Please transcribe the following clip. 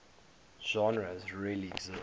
genres really exist